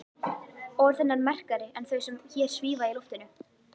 Orð hennar merkari en þau sem hér svífa í loftinu.